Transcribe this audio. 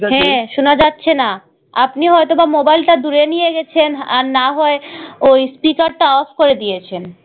হ্যাঁ শোনা যাচ্ছে না আপনি হয়তো মোবাইলটা দূরে নিয়ে গেছেন আর না হয় ঐ speaker টা off করে দিয়েছেন।